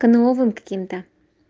к новым каким-то